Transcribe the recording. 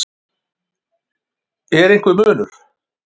Er einhver munur?